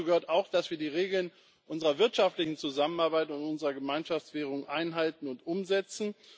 Dazu gehört auch, dass wir die Regeln unserer wirtschaftlichen Zusammenarbeit und unserer Gemeinschaftswährung einhalten und umsetzen.